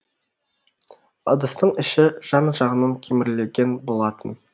ыдыстың іші жан жағынан кемірілген болатын